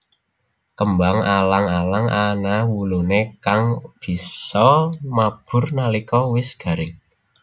Kembang alang alang ana wuluné kang bisa mabur nalika wis garing